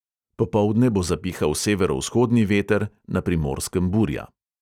Popoldne bo zapihal severovzhodni veter, na primorskem burja.